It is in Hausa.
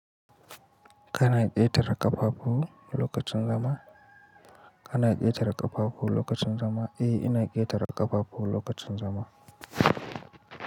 Kana ketara kaffafu lokacin zama. Kana yake daraka babu lokacin zama. Eh ina ketara kafafu lokacin zama.